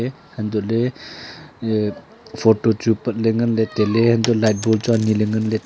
antoh ley photo chu pat ley ngan ley tailey antoh light bon chu ane ngan ley.